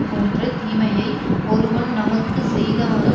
போன்ற தீமையை ஒருவன் நமக்கு செய்தாலும்